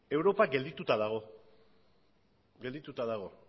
geldituta dago